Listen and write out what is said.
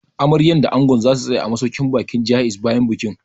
Amaryar da Angon za su tsaya a masauƙin baƙin Jaiz bayan bikin